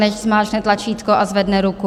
Nechť zmáčkne tlačítko a zvedne ruku.